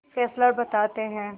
Fessler बताते हैं